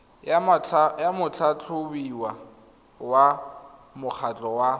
ya motlhatlhobiwa wa mokgatlho wa